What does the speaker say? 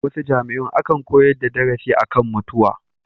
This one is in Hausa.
A wasu jami'un akan koyar da darasi a kan mutuwa.